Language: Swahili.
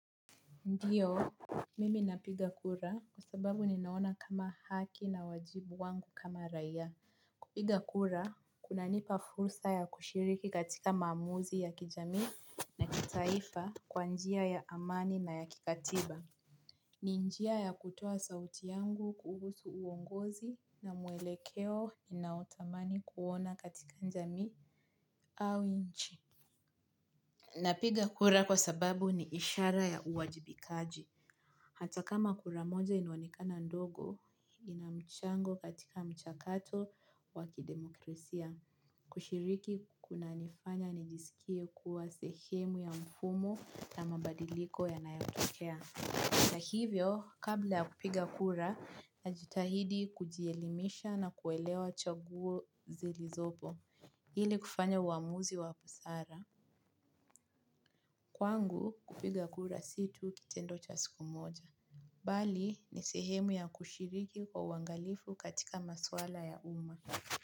Ndiyo, mimi napiga kura kwa sababu ninaona kama haki na wajibu wangu kama raia. Kupiga kura, kuna nipa fursa ya kushiriki katika maamuzi ya kijamii na kitaifa kwa njia ya amani na ya kikatiba. Ni njia ya kutoa sauti yangu kuhusu uongozi na muelekeo ninaotamani kuona katika njamii au inchi. Napiga kura kwa sababu ni ishara ya uwajibikaji. Hata kama kura moja inaonekana ndogo, ina mchango katika mchakato wa kidemokrisia. Kushiriki kuna nifanya nijisikie kuwa sehemu ya mfumo na mabadiliko ya nayotokea. Na hivyo, kabla ya kupiga kura, najitahidi kujielimisha na kuelewa chaguo zili zopo. Ili kufanya uamuzi wa busara. Kwangu, kupiga kura si tu kitendo cha siku moja. Bali ni sehemu ya kushiriki kwa uangalifu katika maswala ya uma.